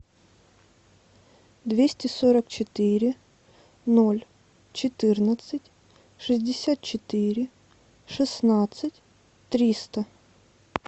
двести сорок четыре ноль четырнадцать шестьдесят четыре шестнадцать триста